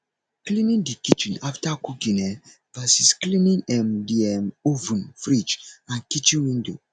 cleaning the kitchen after cooking um vs cleaning um the um oven fridge and kitchen window